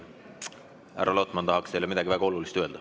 Härra Lotman tahaks teile midagi väga olulist öelda.